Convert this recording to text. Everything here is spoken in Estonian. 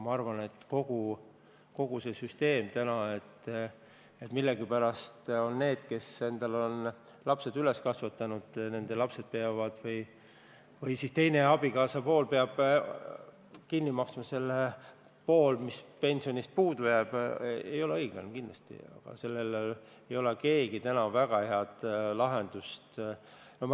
Ma arvan, et kogu see tänane süsteem, mille korral peavad millegipärast just lapsed või abikaasa kinni maksma selle poole, mis pensionist puudu jääb, ei ole õiglane, aga mitte keegi ei ole sellele täna ka väga head lahendust pakkunud.